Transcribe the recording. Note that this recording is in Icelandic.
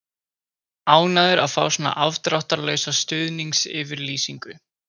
Ánægður að fá svona afdráttarlausa stuðningsyfirlýsingu.